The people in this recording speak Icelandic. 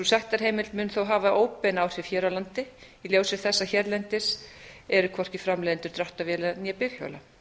sektarheimild mun þó hafa óbein áhrif hér á landi í ljósi þess að hérlendis eru hvorki framleiðendur dráttarvéla né bifhjóla